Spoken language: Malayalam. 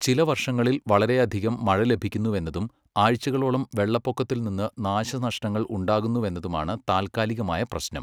ചില വർഷങ്ങളിൽ, വളരെയധികം മഴ ലഭിക്കുന്നുവെന്നതും ആഴ്ചകളോളം വെള്ളപ്പൊക്കത്തിൽ നിന്ന് നാശനഷ്ടങ്ങൾ ഉണ്ടാകുന്നുവെന്നതുമാണ് താൽക്കാലികമായ പ്രശ്നം.